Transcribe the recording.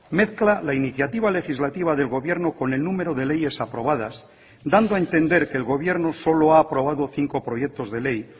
mezcla la iniciativa legislativa del gobierno con el número de leyes aprobadas dando a entender que el gobierno solo ha aprobado cinco proyectos de ley